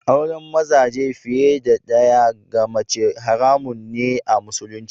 Aure mazaje fiye da ɗaya ga mace haramun ne a Musulunci.